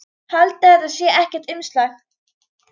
Haldiði að þetta sé ekkert umstang?